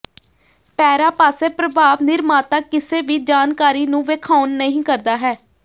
ਪੈਰਾ ਪਾਸੇ ਪ੍ਰਭਾਵ ਨਿਰਮਾਤਾ ਕਿਸੇ ਵੀ ਜਾਣਕਾਰੀ ਨੂੰ ਵੇਖਾਉਣ ਨਹੀ ਕਰਦਾ ਹੈ